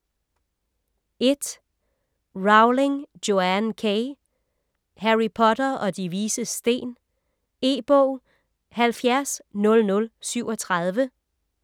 Rowling, Joanne K.: Harry Potter og De Vises Sten E-bog 700037